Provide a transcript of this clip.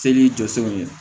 Seli jɔsenw ye